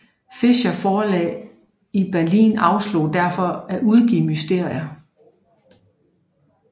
Fischers forlag i Berlin afslog derfor at udgive Mysterier